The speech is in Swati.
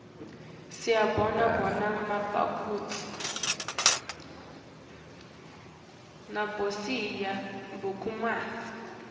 siyibona kubomabonakudze